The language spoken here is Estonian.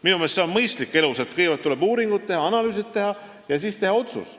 Minu meelest on elus mõistlik nii, et kõigepealt tuleb teha uuringud ja analüüsid ning siis teha otsus.